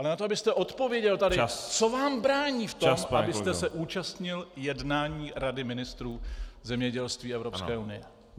Ale na to, abyste odpověděl tady - Co vám brání v tom, abyste se účastnil jednání rady ministrů zemědělství Evropské unie?